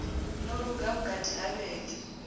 no luga vhukati ha vhege